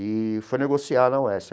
E foi negociar na UESP.